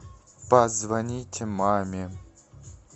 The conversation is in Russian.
позвонить маме